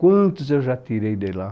Quantos eu já tirei de lá?